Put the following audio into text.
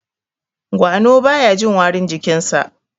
gwano baya Jin warin jikinsa